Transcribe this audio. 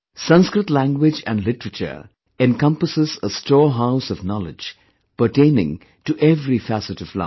Sanskrit language & literature encompasses a storehouse of knowledge pertaining to every facet of life